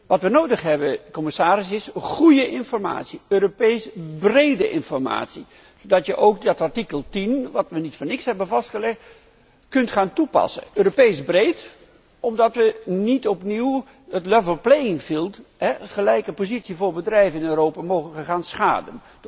Wat we nodig hebben, commissaris, is goede informatie, Europees brede informatie, zodat je ook dat artikel 10 dat we niet voor niets hebben vastgelegd kunt gaan toepassen, Europees breed, omdat we niet opnieuw het level playing field gelijke positie voor bedrijven in Europa, mogen gaan schaden.